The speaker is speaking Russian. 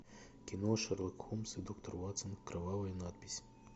кино шерлок холмс и доктор ватсон кровавая надпись